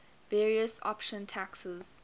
various option taxes